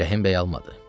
Rəhimbəy almadı.